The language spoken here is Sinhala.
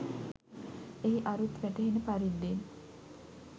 එහි අරුත් වැටහෙන පරිද්දෙන්